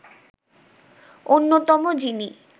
অন্যতম যিনি